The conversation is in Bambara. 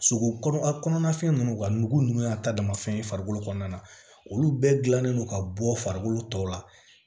Sogo kɔnɔna fɛn nunnu ka nugu nunnu y'a ta dama fɛn ye farikolo kɔnɔna na olu bɛɛ gilannen don ka bɔ farikolo tɔw la